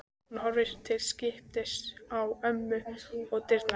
Hún horfir til skiptis á ömmu og dyrnar.